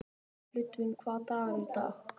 Ludvig, hvaða dagur er í dag?